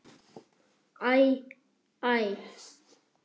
Æ. æ.